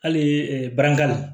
Hali barakali